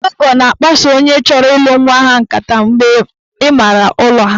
Ndị ọgọ na-akpaso onye chọrọ ịlụ nwa ha nkata mgbe ịmaara ụlọ